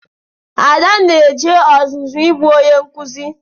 Ada na-eje ọzụzụ ịbụ onye nkụzi.